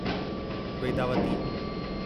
Vedavati